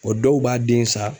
Bɔn dɔw b'a den san